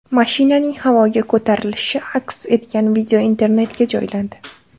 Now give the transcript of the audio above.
Mashinaning havoga ko‘tarilishi aks etgan video internetga joylandi.